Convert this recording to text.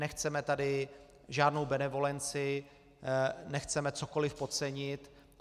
Nechceme tady žádnou benevolenci, nechceme cokoliv podcenit.